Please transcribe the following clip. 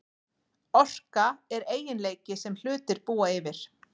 Orka er eiginleiki sem hlutir búa yfir.